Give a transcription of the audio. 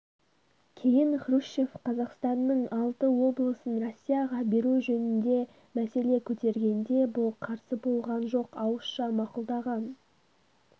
кейін хрущев қазақстанның алты облысын россияға беру жөнінде мәселе көтергенде бұл қарсы болған жоқ ауызша мақұлдаған